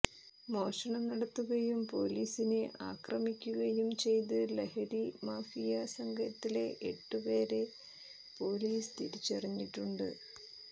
മോഷണം നടത്തുകയും പൊലീസിനെ ആക്രമിക്കുകയും ചെയ്ത ലഹരി മാഫിയ സംഘത്തിലെ എട്ടു പേരെ പൊലീസ് തിരിച്ചറിഞ്ഞിട്ടുണ്ട്